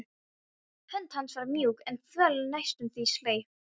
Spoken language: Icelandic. Hönd hans var mjúk en þvöl, næstum því sleip.